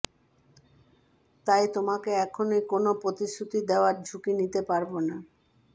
তাই তোমাকে এখনই কোনও প্রতিশ্রুতি দেওয়ার ঝুঁকি নিতে পারব না